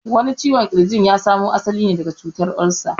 Wani ciwon ƙirjin ya samu asali ne daga cutar olsa